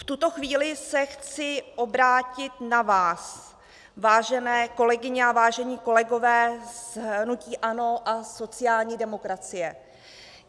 V tuto chvíli se chci obrátit na vás, vážené kolegyně a vážení kolegové z hnutí ANO a sociální demokracie.